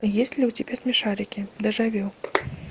есть ли у тебя смешарики дежавю